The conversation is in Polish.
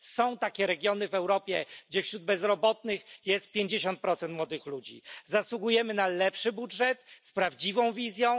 Są takie regiony w Europie, gdzie wśród bezrobotnych jest 50 młodych ludzi. Zasługujemy na lepszy budżet z prawdziwą wizją.